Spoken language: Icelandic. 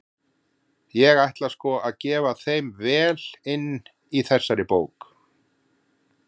Ég ætla sko að gefa þeim vel inn í þessari bók!